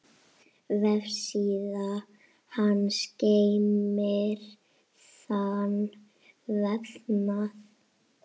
Vefsíða hans geymir þann vefnað.